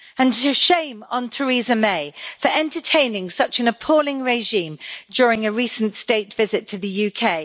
And shame on Theresa May for entertaining such an appalling regime during a recent state visit to the UK!